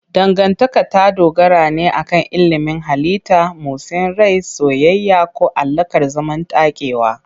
Dangantaka ta dogara ne akan ilimin halitta, motsin rai, soyayya, ko alaƙar zamantakewa.